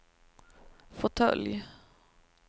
fåtölj